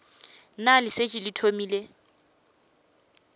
na le šetše le thomile